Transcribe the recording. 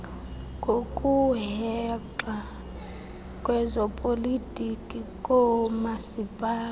ngokuhexa kwezopolitiko koomasipala